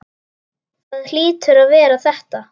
Það hlýtur að vera þetta.